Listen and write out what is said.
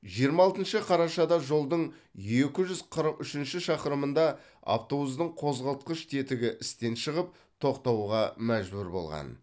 жиырма алтыншы қарашада жолдың екі жүз қырық үшінші шақырымында автобустың қозғалтқыш тетігі істен шығып тоқтауға мәжбүр болған